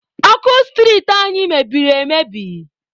Ọkụ street anyị meberi emebi.